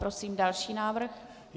Prosím další návrh.